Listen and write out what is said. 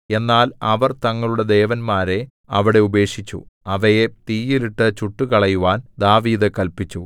എന്നാൽ അവർ തങ്ങളുടെ ദേവന്മാരെ അവിടെ ഉപേക്ഷിച്ചു അവയെ തീയിലിട്ടു ചുട്ടുകളയുവാൻ ദാവീദ് കല്പിച്ചു